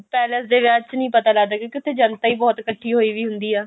palace ਦੇ ਵਿਆਹ ਵਿੱਚ ਨਹੀਂ ਪਤਾ ਲੱਗਦਾ ਕਿਉਂਕਿ ਉੱਥੇ ਜਨਤਾ ਹੀ ਬਹੁਤ ਇੱਕਠੀ ਹੋਈ ਵੀ ਹੁੰਦੀ ਆ